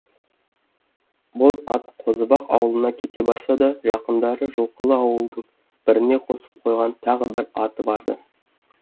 боз ат қозыбақ аулына кете барса да жақындары жылқылы ауылдың біріне қосып қойған тағы бір аты барды